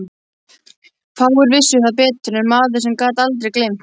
Fáir vissu það betur en maður sem gat aldrei gleymt.